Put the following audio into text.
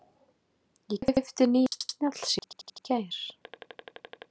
Ég keypti nýjan snjallsíma í gær.